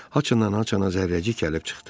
Haçandan haçana Zərrəcik gəlib çıxdı.